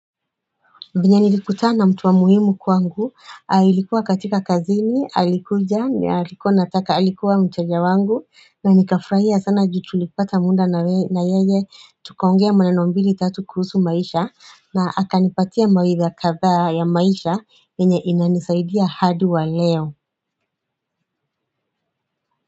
Vyenye nilikutana na mtu wa muhimu kwangu, ilikuwa katika kazini, alikuja, alikuwa nataka alikuwa mteja wangu na nikafurahia sana juu tulipata muda na yeye, tukaongea maneno mbili tatu kuhusu maisha na akanipatia mawaidha kadhaa ya maisha, yenye inanisaidia hadi wa leo.